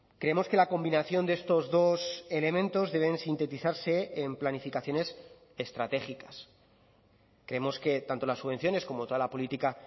creemos que la combinación de estos dos elementos deben sintetizarse en planificaciones estratégicas creemos que tanto las subvenciones como toda la política